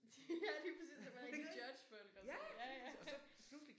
Ja lige præcis og man kan judge folk og sådan noget ja ja